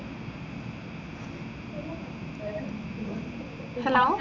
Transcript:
hello